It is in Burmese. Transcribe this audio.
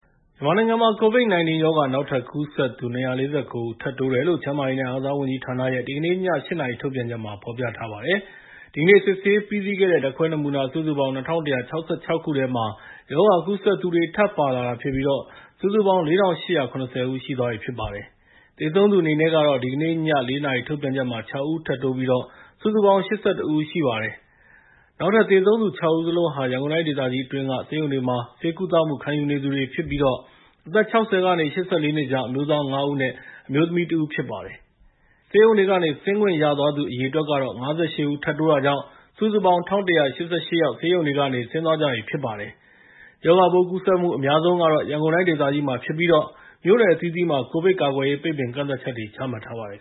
မြန်မာနိုင်ငံမှာ COVID-19 ရောဂါ နောက်ထပ်ကူးစက်သူ ၂၄၉ ဦး ထပ်တိုးတယ်လို့ ကျန်းမာရေးနဲ့ အားကစားဝန်ကြီးဌာနရဲ့ ဒီကနေ့ည ၈ နာရီ ထုတ်ပြန်ချက်မှာ ဖော်ပြထားပါတယ်။ ဒီကနေ့ စစ်ဆေးပြီးစီးခဲ့တဲ့ ဓာတ်ခွဲနမူနာ စုစုပေါင်း ၂,၁၆၆ ခုထဲမှာ ရောဂါကူးစက်သူတွေ ထပ်ပါလာတာဖြစ်ပြီး စုစုပေါင်း ၄,၈၇၀ ဦး ရှိသွားပြီဖြစ်ပါတယ်။ သေဆုံးသူအနေနဲ့ကတော့ ဒီကနေ့ညနေ ၄ နာရီ ထုတ်ပြန်ချက်မှာ ၆ ဦးထပ်တိုးပြီး စုစုပေါင်း ၈၁ ဦး ရှိပါတယ်။ နောက်တိုးသေဆုံးသူ ၆ ဦးစလုံးဟာ ရန်ကုန်တိုင်းဒေသကြီးအတွင်းက ဆေးရုံတွေမှာ ဆေးကုသမှု ခံယူနေသူတွေဖြစ်ပြီး အသက် ၆၀ ကနေ ၈၄ နှစ်ကြား အမျိုးသား ၅ ဦးနဲ့ အမျိုးသမီး ၁ ဦးတို့ ဖြစ်ပါတယ်။ ဆေးရုံတွေကနေ ဆင်းခွင့်ရသွားသူ အရေအတွက်က ၅၈ ဦး ထပ်တိုးတာကြောင့် စုစုပေါင်း ၁,၁၈၈ ယောက် ဆေးရုံတွေကနေ ဆင်းသွားကြပြီ ဖြစ်ပါတယ်။ ရောဂါပိုးကူးစက်မှု အများဆုံးကတော့ ရန်ကုန်တိုင်းဒေသကြီးမှာဖြစ်ပြီး မြို့နယ်အသီးသီးမှာ ကိုဗစ်ကာကွယ်ရေး ပိတ်ပင်ကန့်သတ်ချက်တွေ ချမှတ်ထားပါတယ်